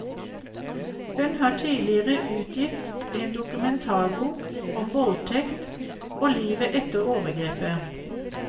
Hun har tidligere utgitt en dokumentarbok om voldtekt og livet etter overgrepet.